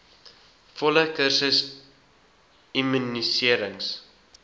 volle kursus immuniserings